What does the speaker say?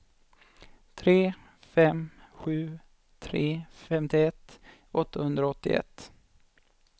tre fem sju tre femtioett åttahundraåttioett